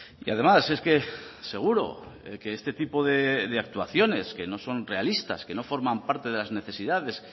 y además es que seguro que este tipo de actuaciones que no son realistas que no forman parte de las necesidades